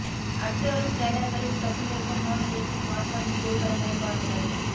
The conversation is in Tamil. அடுத்து வரும் ஸ்லைடர்களில் கசிந்திருக்கும் நோட் எட்ஜ் ஸ்மார்ட்போனின் புகைப்படங்களை பாருங்கள்